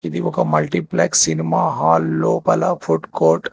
ఇది ఒక multiplex cinema hall లోపల ఫుడ్ కోర్ట్ .